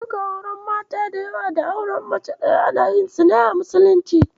Duka auren mata da yawa da auren mace ɗaya ana yin su a Musulunci.